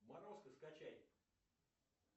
морозко скачай